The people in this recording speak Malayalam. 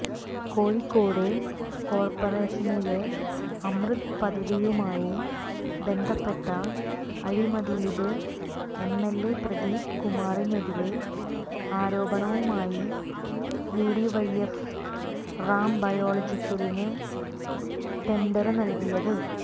കോഴിക്കോട് കോര്പ്പറേഷനിലെ അമൃത് പദ്ധതിയുമായി ബന്ധപ്പെട്ട അഴിമതിയില് എംഎല്എ പ്രദീപ് കുമാറിനെതിരെ ആരോപണവുമായി യുഡിവൈഎഫ് റാം ബയോളജിക്കലിന് ടെന്ഡര് നല്കിയത്